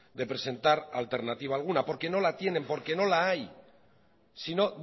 de presentar alternativa alguna porque no la tienen porque no la hay si no